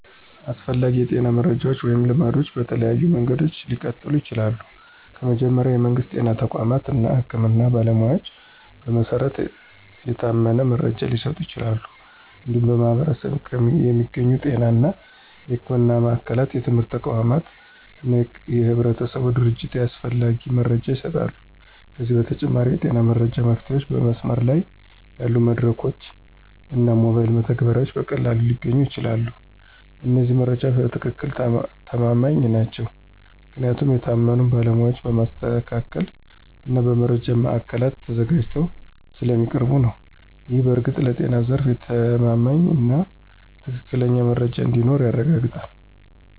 አስፈላጊ የጤና መረጃዎች ወይም ልማዶች በተለያዩ መንገዶች ሊቀጥሉ ይችላሉ። ከመጀመሪያ፣ የመንግስት ጤና ተቋማት እና የህክምና ባለሞያዎች በመሰረት የታመነ መረጃ ሊሰጡ ይችላሉ። እንዲሁም በማኅበረሰብ የሚገኙ ጤና እና ሕክምና ማዕከላት፣ የትምህርት ተቋማት እና የህብረተሰብ ድርጅቶች ያስፈላጊ መረጃ ይሰጣሉ። ከዚህ በተጨማሪ፣ የጤና መረጃ መፍትሄዎችን በመስመር ላይ ያሉ መድረኮች እና ሞባይል መተግበሪያዎች በቀላሉ ሊገኙ ይችላሉ። እነዚህ መረጃዎች በትክክል ተማማኝ ናቸው ምክንያቱም የታመኑ ባለሞያዎች በማስተካከል እና በመረጃ ማዕከላት ተዘጋጅተው ስለሚያቀርቡ ነው። ይህ በእርግጥ ለጤና ዘርፍ የተማማኝና ትክክለኛ መረጃ እንዲኖር ያረጋግጣል።